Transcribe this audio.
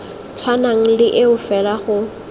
tshwanang le eo fela go